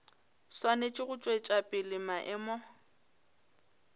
swanetše go tšwetša pele maemo